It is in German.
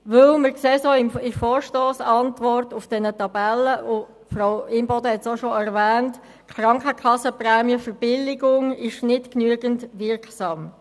Die Verbilligung der Krankenkassenprämien ist nicht genügend wirksam, dies sehen wir auch in den Tabellen der Vorstossantwort, und Grossrätin Imboden hat es auch schon erwähnt.